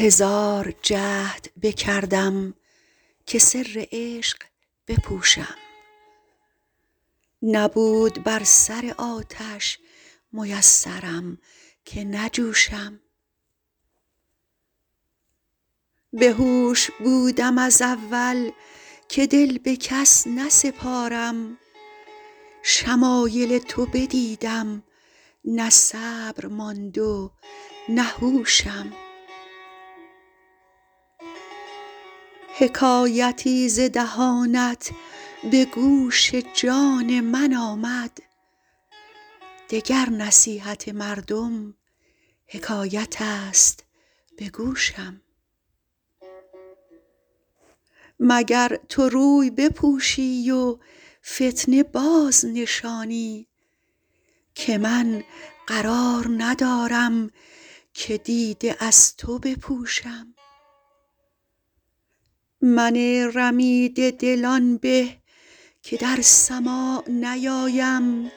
هزار جهد بکردم که سر عشق بپوشم نبود بر سر آتش میسرم که نجوشم بهوش بودم از اول که دل به کس نسپارم شمایل تو بدیدم نه صبر ماند و نه هوشم حکایتی ز دهانت به گوش جان من آمد دگر نصیحت مردم حکایت است به گوشم مگر تو روی بپوشی و فتنه بازنشانی که من قرار ندارم که دیده از تو بپوشم من رمیده دل آن به که در سماع نیایم